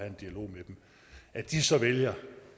en dialog med dem at de så vælger